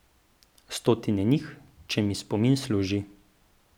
Stotine njih, če mi spomin služi.